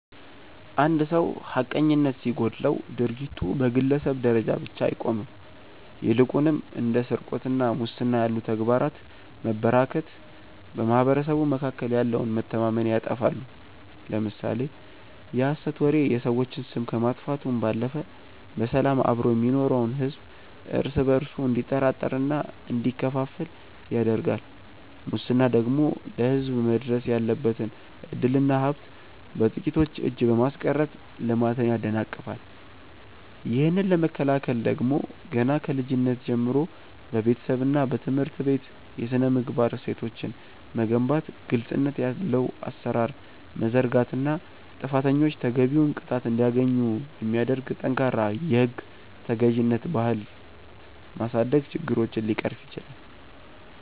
አንድ ሰው ሐቀኝነት ሲጎድለው ድርጊቱ በግለሰብ ደረጃ ብቻ አይቆምም ይልቁንም እንደ ስርቆትና ሙስና ያሉ ተግባራት መበራከት በማኅበረሰቡ መካከል ያለውን መተማመን ያጠፋሉ። ለምሳሌ የሐሰት ወሬ የሰዎችን ስም ከማጥፋቱም ባለፈ በሰላም አብሮ የሚኖረውን ሕዝብ እርስ በእርሱ እንዲጠራጠርና እንዲከፋፈል ያደርጋል ሙስና ደግሞ ለሕዝብ መድረስ ያለበትን ዕድልና ሀብት በጥቂቶች እጅ በማስቀረት ልማትን ያደናቅፋል። ይህንን ለመከላከል ደግሞ ገና ከልጅነት ጀምሮ በቤተሰብና በትምህርት ቤት የሥነ-ምግባር እሴቶችን መገንባት ግልጽነት ያለው አሠራር መዘርጋትና ጥፋተኞች ተገቢውን ቅጣት እንዲያገኙ የሚያደርግ ጠንካራ የሕግ ተገዥነት ባህል ማሳደግ ችግሮችን ሊቀርፍ ይችላል።